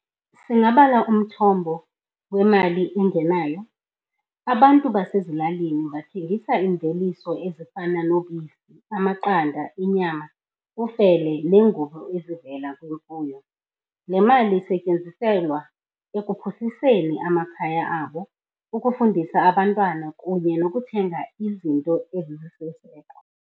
Singabala umthombo wemali engenayo. Abantu basezilalini bathengisa iimveliso ezifana nobisi, amaqanda, inyama, ufele, neengubo ezivela kwimfuyo. Le mali isetyenziselwa ekuphuhliseni amakhaya abo, ukufundisa abantwana kunye nokuthenga izinto ezisisiseko.